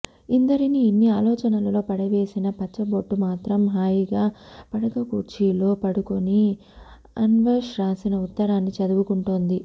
ఇందరిని ఇన్ని ఆలోచనలలో పడవేసిన పచ్చబొట్టు మాత్రం హాయిగా పడకకుర్చీలో పడుకొని అనే్వష్ రాసిన ఉత్తరాన్ని చదువుకుంటోంది